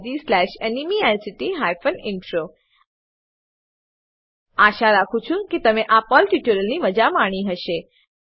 httpspoken tutorialorgNMEICT Intro આશા રાખું છું કે તમે આ પર્લ ટ્યુટોરીયલની મજા માણી હશે